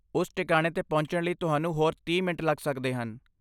ਉਸ ਟਿਕਾਣੇ 'ਤੇ ਪਹੁੰਚਣ ਲਈ ਤੁਹਾਨੂੰ ਹੋਰ ਤੀਹ ਮਿੰਟ ਲੱਗ ਸਕਦੇ ਹਨ